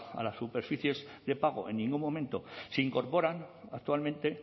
a las superficies de pago en ningún momento se incorporan actualmente